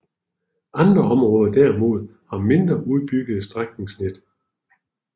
Andre områder derimod har mindre udbyggede strækningsnet